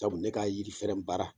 Sabu ne ka yiri fɛrɛn baara